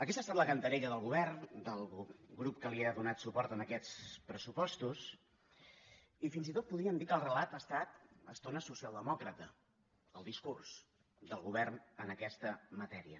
aquesta ha estat la cantarella del govern del grup que li ha donat suport en aquests pressupostos i fins i tot podríem dir que el relat ha estat a estones socialdemòcrata el discurs del govern en aquesta matèria